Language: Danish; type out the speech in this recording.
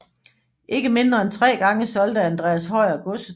Ikke mindre end tre gange solgte Andreas Høyer godset